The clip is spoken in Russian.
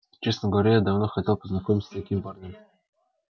честно говоря я давно хотела познакомиться с таким парнем